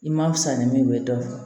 I ma fisa ni min ye dɔrɔn